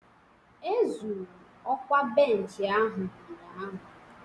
Ezuru okwa bench ahụ ụnyahụ